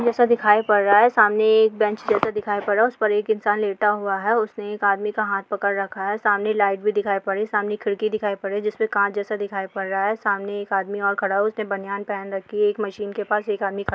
जैसा दिखाई पड़ रहा है| सामने एक बेंच जैसा दिखाई पड़ रहा है उसपे एक इंसान लेटा हुआ है| उसने एक आदमी का हाथ पकड़ रखा है| सामने लाइट भी दिखाई पड़ रही है सामने एक खिड़की दिखाई पड़ रही है जिसमे काँच जैसा दिखाई पड़ रहा है| सामने एक आदमी और खड़ा है उसने बनियान पहन रखी है| एक मशीन के पास एक आदमी खड़ा है।